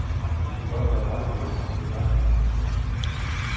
Men de kan godt have rettigheder til græsninger.